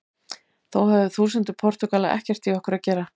Þó höfðu þúsundir Portúgala ekkert í okkur að gera.